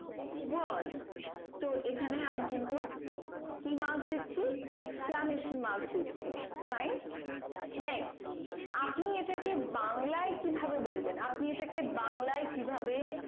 was তো এখানে আমি কিন্তু কি marks দিচ্ছি exclusion marks দিচ্ছি fine next আপনি এটাকে বাংলায় কি ভাবে বলবেন আপনি এটাকে বাংলায় কি ভাবে